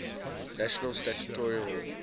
national statuary hall